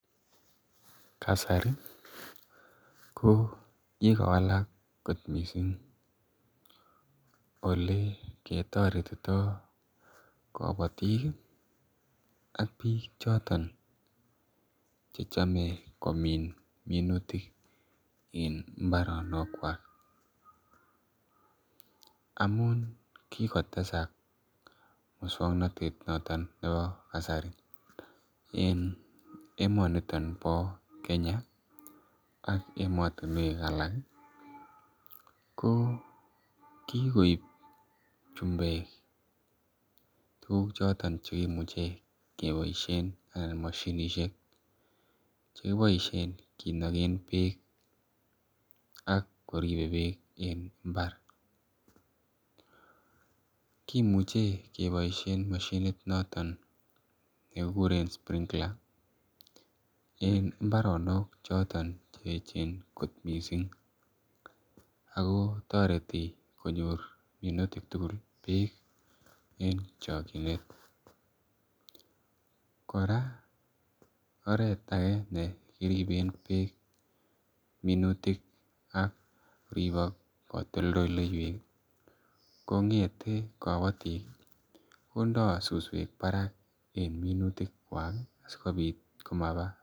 Kasari kokikowalak kot missing olekeriretito kabatik ih ak bik choton chechame komin minutik, en imbaronokuak. Amuun kikotesak mukswanotet noton nebo kasari, en emoniton bo Kenya ih , ak emotinuek alak ko kikoib chembek tuguk choton cheimuche keboisien eh mashinisiek choton chekiboisien kinagen beek ak koribe beek en imbar kimuche keboisien mashinit noton, nekikuren springula en imbaronok choton cheechen kot missing ako toreti konyor mutik tugul bek en chakchinet kora oret age nekiriben bek minutik akoriak katoltolleywek, kong'ete kabatik ih , konda susuek barak en minutikuak ih asikobit komaba